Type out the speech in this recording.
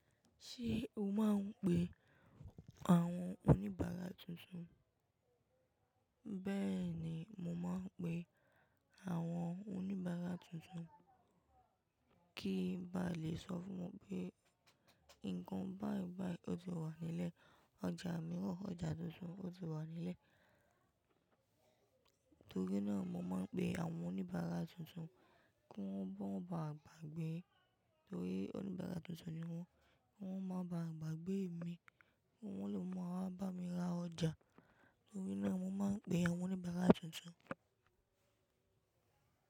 Ṣé o máa ń pe àwọn oníbàárà tuntun? Bẹ́ẹ̀ni, mo máa ń pe àwọn oníbàárà tuntun, kí ń bá lè sọ fún wọn pé nǹkan báìbàì ó ti wà nílẹ̀. Ọjà mìíràn, ọjà tuntun ó ti wà nílẹ̀. Torí náà, mo máa ń pe àwọn oníbàárà tuntun kí wọ́n máa ba à gbàgbé. Torí oníbàárà tuntun ni wọ́n, wọ́n máa ba à gbàgbé mi, wọ́n lè máa bá mi ra ọjà. Torí náà, mo máa ń pe àwọn oníbàárà tuntun.